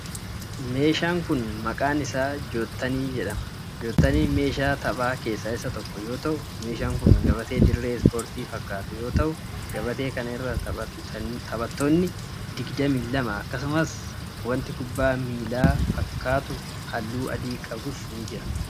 Meeshaan kun, maqaan isaa jottanii jedhama. Jottaniin meeshaa taphaa keessaa isa tokko yoo ta'u, meeshaan kun gabatee dirree ispoortii fakkaatu yoo ta'u gabatee kana irra taphattoonni digdami lama akkasumas wanti kubbaa miilaa fakkaatu haalluu adii qabus ni jira.